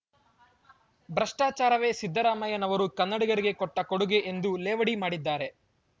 ಭ್ರಷ್ಟಾಚಾರವೇ ಸಿದ್ದರಾಮಯ್ಯನವರು ಕನ್ನಡಿಗರಿಗೆ ಕೊಟ್ಟಕೊಡುಗೆ ಎಂದು ಲೇವಡಿ ಮಾಡಿದ್ದಾರೆ